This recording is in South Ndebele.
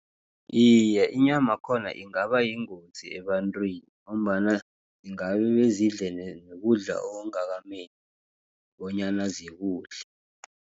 Iye, inyamakhona ingaba yingozi ebantrwini, ngombana ingabebezidle nokudla okungakameli bonyana zikudle.